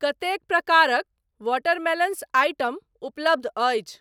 कतेक प्रकारक watermelons item उपलब्ध अछि?